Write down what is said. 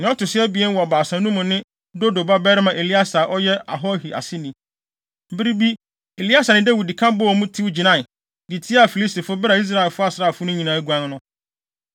Nea ɔto so abien wɔ baasa no mu no ne Dodo babarima Eleasar a ɔyɛ Ahohi aseni. Bere bi Eleasar ne Dawid ka bɔɔ mu, tew gyinae, de tiaa Filistifo bere a Israel asraafo no nyinaa aguan no.